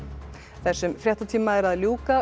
þessum fréttatíma er að ljúka